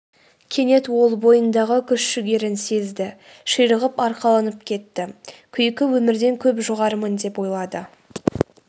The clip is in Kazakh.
кенет ол бойындағы күш-жігерін сезді ширығып арқаланып кетті күйкі өмірден көп жоғарымын деп ойлады